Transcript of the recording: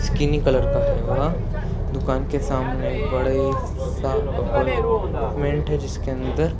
skinny colour का है वह दुकान के सामने एक बड़े सा अपार्टमेट हैं जिसके अंदर --